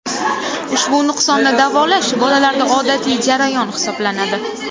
Ushbu nuqsonni davolash bolalarda odatiy jarayon hisoblanadi.